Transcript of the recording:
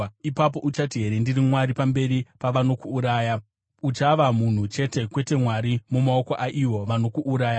Ipapo uchati here, “Ndiri mwari,” pamberi pavanokuuraya? Uchava munhu chete, kwete mwari, mumaoko aivo vanokuuraya.